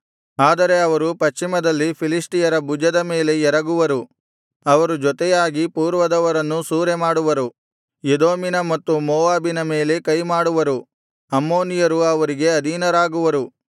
ಆದರೆ ಅವರು ಪಶ್ಚಿಮದಲ್ಲಿ ಫಿಲಿಷ್ಟಿಯರ ಭುಜದ ಮೇಲೆ ಎರಗುವರು ಅವರು ಜೊತೆಯಾಗಿ ಪೂರ್ವದವರನ್ನು ಸೂರೆಮಾಡುವರು ಎದೋಮಿನ ಮತ್ತು ಮೋವಾಬಿನ ಮೇಲೆ ಕೈಮಾಡುವರು ಅಮ್ಮೋನಿಯರು ಅವರಿಗೆ ಅಧೀನರಾಗುವರು